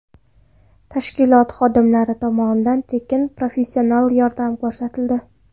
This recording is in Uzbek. Tashkilot xodimlari tomonidan tekin professional yordam ko‘rsatildi.